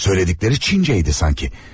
Söylədikləri Çincə idi sanki.